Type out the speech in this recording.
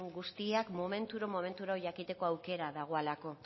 guztiak momenturo momenturo jakiteko aukera dagolako